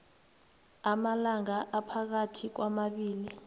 amalanga aphakathi kwamabili